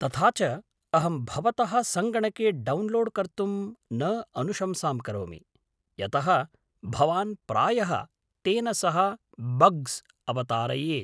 तथा च अहं भवतः सङ्गणके डौन्लोड् कर्तुं न अनुशंसां करोमि। यतः भवान् प्रायः तेन सह बग्स् अवतारयेत्।